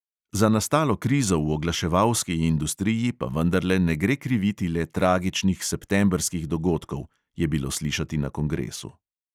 Za nastalo krizo v oglaševalski industriji pa vendarle ne gre kriviti le tragičnih septembrskih dogodkov, je bilo slišati na kongresu.